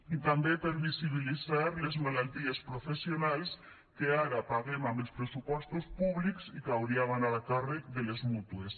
i també per visibilitzar les malalties professionals que ara paguem amb els pressupostos públics i que haurien d’anar a càrrec de les mútues